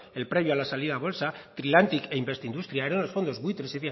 el previo a la salida a bolsa trilantic e investindustrial eran los fondos buitres